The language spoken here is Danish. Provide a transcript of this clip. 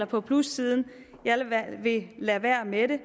på plussiden jeg vil lade være med det